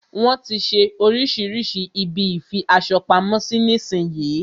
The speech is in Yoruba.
Wọn tí ń ṣe oríṣirísi ibi ìfi aṣo pamo sí nísin yí.